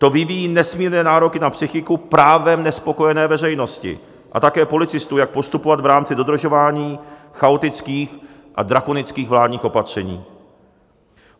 To vyvíjí nesmírné nároky na psychiku právem nespokojené veřejnosti a také policistů, jak postupovat v rámci dodržování chaotických a drakonických vládních opatření.